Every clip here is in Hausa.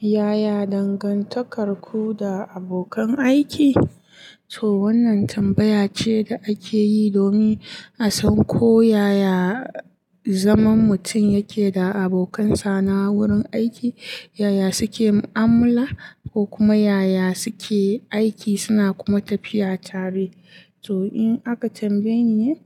Yaya dangantakarku da abokan aiki? To wannan tambaya ce da ake yi domin a san ko yaya zaman mutum yake da abokansa na wurin aiki, yaya suke mu'amala ko kuma yaya suke aiki suna kuma tafiya tare. To in aka tambaye ni,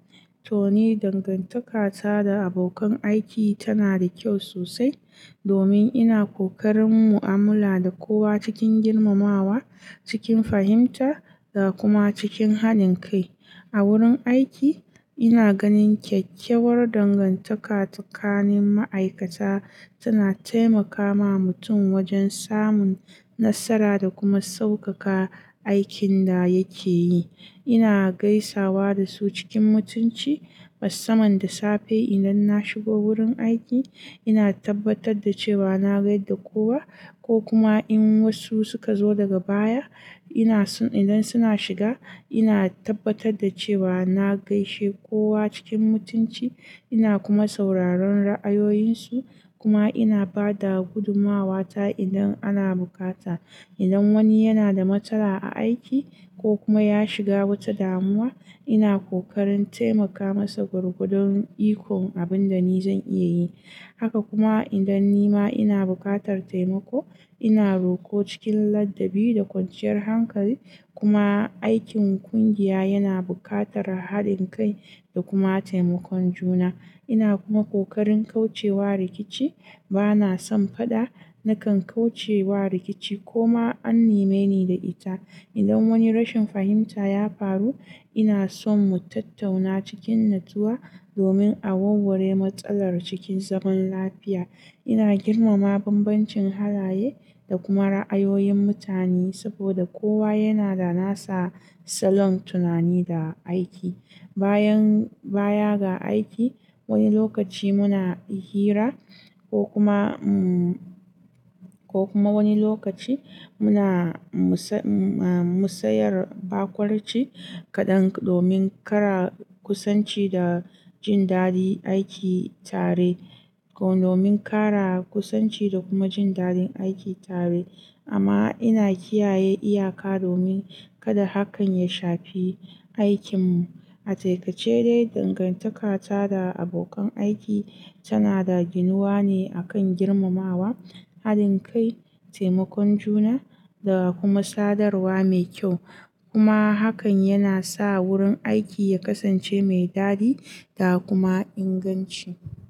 to ni dangantaka ta da abokan aiki tana da kyau sosai domin ina ƙoƙarin mu'amala da kowa cikin girmamawa, cikin fahimta da kuma cikin haɗin kai. A wurin aiki ina ganin kyakkyawar dangantaka tsakanin ma'aikata, tana taimakawa mutum wajen samun nasara da kuma sauƙaƙa aikin da yake yi. Ina gaisawa da su cikin mutunci, musamman da safe idan na shigo wurin aiki. Ina tabbatar da cewa na gaida kowa, ko kuma in wasu suka zo daga baya, ina son in ga suna shiga ina tabbatar da cewa na gaishe kowa cikin mutunci, ina kuma sauraron ra'ayoyinsu kuma ina ba da gudumawata idan ana bukata. Idan wani yana da matsala a aiki ko kuma ya shiga wata damuwa, ina ƙoƙarin taimaka masa gwargwadon ikon abin da ni zan iya yi. Haka kuma idan ni ma ina buƙatar taimako, ina roƙo cikin ladabi da kwanciyar hankali kuma aikin ƙungiya yana buƙatar haɗin kai da kuma taimakon juna. Ina kuma ƙoƙarin kauce wa rikici. Bana son faɗa, nakan kauce wa rikici koma an nime ni da ita. Idan wani rashin fahimta ya faru, ina son mu tattauna cikin natsuwa domin a warware matsalar cikin zaman lafiya. Ina girmama bambancin halaye da kuma ra'ayoyin mutane saboda kowa yana da nasa salon tunani da aiki. Bayan baya ga aiki, wani lokaci muna hira ko kuma, ko kuma wani lokaci muna musayar barkonci kaɗan domin ƙara kusanci da jin dadin aiki tare, domin ƙara kusanci da kuma jin dadin aiki tare amma ina kiyaye iyaka domin kada hakan ya shafi aikinmu. A taƙaice ce dai dangantaka ta da abokan aiki tana da ginuwa ne akan girmamawa, haɗin kai, taimakon juna da kuma sadarwa mai kyau. Kuma hakan yana sa wurin aiki ya kasance mai dadi da kuma inganci.